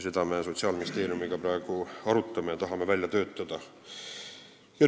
Seda me Sotsiaalministeeriumiga praegu arutame ja tahame neid välja töötada.